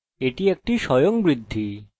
auto এই বিশেষ function দেবে